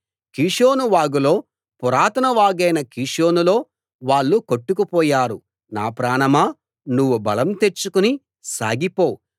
కీషోను వాగులో పురాతన వాగైన కీషోనులో వాళ్ళు కొట్టుకుపోయారు నా ప్రాణమా నువ్వు బలం తెచ్చుకుని సాగిపో